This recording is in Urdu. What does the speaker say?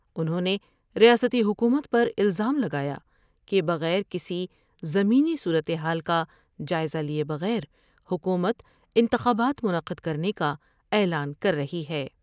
انہوں نے ریاستی حکومت پر الزام لگایا کہ بغیر کسی زمینی صورتحال کا جائزہ لئے بغیر حکومت انتخابات منعقد کر نے کا اعلان کر رہی ہے ۔